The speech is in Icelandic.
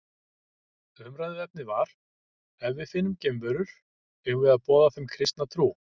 Umræðuefnið var Ef við finnum geimverur, eigum við að boða þeim kristna trú?